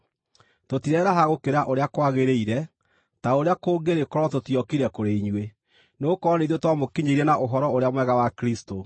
Tũtireraha gũkĩra ũrĩa kwagĩrĩire, ta ũrĩa kũngĩrĩ korwo tũtiokire kũrĩ inyuĩ, nĩgũkorwo nĩ ithuĩ twamũkinyĩire na Ũhoro-ũrĩa-Mwega wa Kristũ.